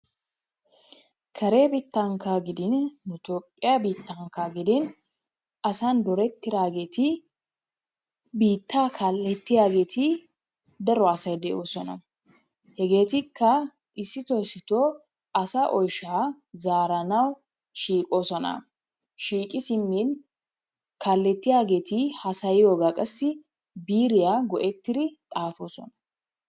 Kare biittankka gidin nu etoophphiyaa biittankka gidin asan doorettidaageti biittaa kalettiyaageti daro asay de"oosona. hegeetikka issitoo issitoo asaa oyshshaa zaaranawu shiiqoosona. shiiqi siimmin kaalettiyaageti haasayiyoobaa qassi biiriyaa go"ettiri xaafoosona.